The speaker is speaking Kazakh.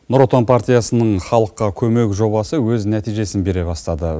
нұр отан партиясының халыққа көмек жобасы өз нәтижесін бере бастады